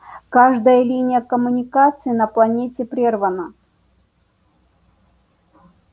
каждая линия коммуникации на планете прервана